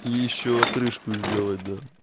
и ещё отрыжку сделать да